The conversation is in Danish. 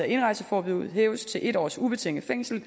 indrejseforbuddet hæves til en års ubetinget fængsel